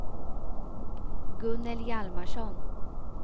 Gunnel Hjalmarsson